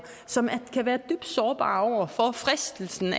som kan være dybt sårbare over for fristelsen